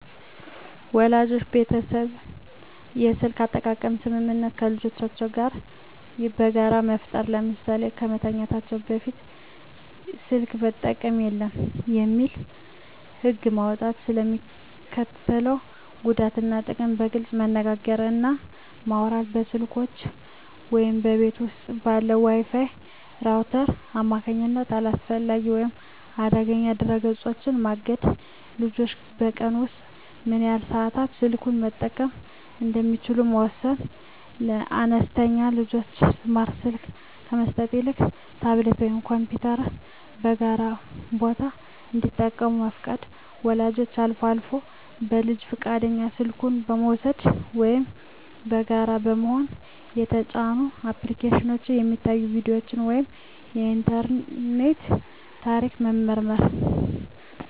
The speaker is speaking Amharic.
ወላጆች የቤተሰብ የስልክ አጠቃቀም ስምምነት ከልጆቻቸው ጋር በጋራ መፍጠር። ለምሳሌ "ከመተኛት ሰዓት በፊት ስልክ መጠቀም የለም" የሚል ህግ መውጣት። ስለ ሚስከትለው ጉዳት እና ጥቅም በግልፅ መነጋገር እና ማውራት። በስልኮች ወይም በቤት ውስጥ ባለው የWi-Fi ራውተር አማካኝነት አላስፈላጊ ወይም አደገኛ ድረ-ገጾችን ማገድ። ልጆች በቀን ውስጥ ምን ያህል ሰዓት ስልኩን መጠቀም እንደሚችሉ መወሰን። ለአነስተኛ ልጆች ስማርት ስልክ ከመስጠት ይልቅ ታብሌት ወይም ኮምፒውተርን በጋራ ቦታ እንዲጠቀሙ መፍቀድ። ወላጆች አልፎ አልፎ በልጁ ፈቃድ ስልኩን በመውሰድ (ወይም በጋራ በመሆን) የተጫኑ አፕሊኬሽኖች፣ የሚታዩ ቪዲዮዎች ወይም የኢንተርኔት ታሪክ መመርመር።